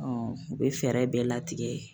u bɛ fɛɛrɛ bɛɛ latigɛ